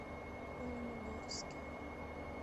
оленегорске